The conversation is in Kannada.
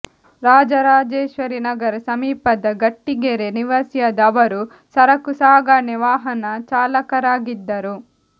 ರಾಜರಾಜೇಶ್ವರಿನಗರ ಸಮೀಪದ ಗಟ್ಟಿಗೆರೆ ನಿವಾಸಿಯಾದ ಅವರು ಸರಕು ಸಾಗಣೆ ವಾಹನ ಚಾಲಕರಾಗಿದ್ದರು